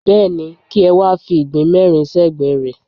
Bẹ́ẹ̀ni, kí ẹ wá fi ìgbín mẹ́rin sẹ́gbẹ̀ẹ́ rẹ̀.